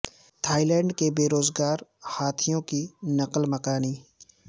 Thai land کے بے روزگار ہاتھیوں کی نقل مکانی